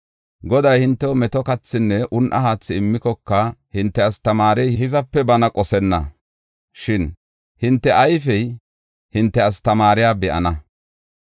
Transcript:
Goday hintew meto kathinne un7a haathi immikoka, hinte astamaarey hizape bana qosenna. Shin hinte ayfey hinte astamaariya be7ana.